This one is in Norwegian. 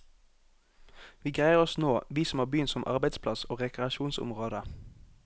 Vi greier oss nå, vi som har byen som arbeidsplass og rekreasjonsområde.